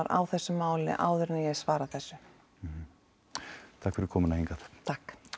á þessu máli áður en ég svara þessu takk fyrir komuna hingað takk